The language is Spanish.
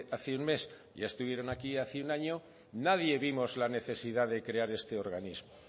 hace un mes y ya estuvieron aquí hace un año nadie vimos la necesidad de crear este organismo